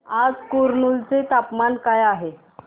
आज कुरनूल चे तापमान काय आहे